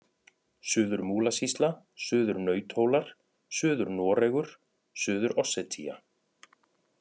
Suður-Múlasýsla, Suður-Nauthólar, Suður-Noregur, Suður-Ossetía